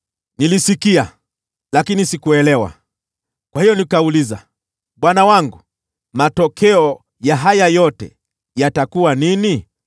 Nilisikia, lakini sikuelewa. Kwa hiyo nikauliza, “Bwana wangu, matokeo ya haya yote yatakuwa nini?”